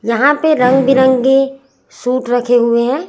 जहां पे रंग बिरंगी सूट रखे हुए हैं।